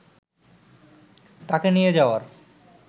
তাঁকে নিয়ে যাওয়ার